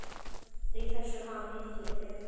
Í þessum ham hitti ég þig.